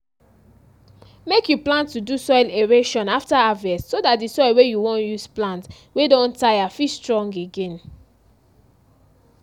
make you plan to do soil aeration after harvest so dat di soil wey you wan use plant wey don tire fit strong again